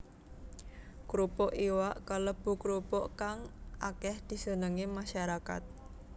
Krupuk iwak kalebu krupuk kang akéh disenengi masyarakat